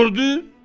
Di gördü?